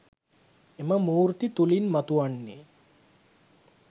එම මූර්ති තුළින් මතුවන්නේ